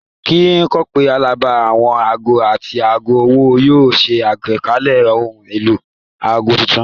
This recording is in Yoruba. Ní kòpẹ́ abala àwọn aago àti aago ọwọ́ yóò ṣe àgbékalẹ̀ ohun èlò aago tuntun